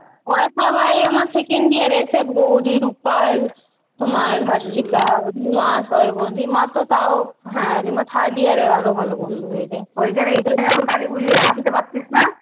ওরা সবাই আমার second year এসে গৌরী, রুপাল, তোমার হারশিকা, লিমা সবাই বন্ধু। লিমা তো তাও হ্যাঁ লিমা third year আরো ভালো বন্ধু হয়ে যায়।